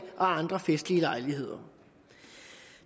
andre festlige lejligheder